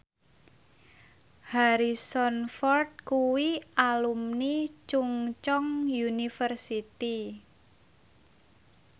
Harrison Ford kuwi alumni Chungceong University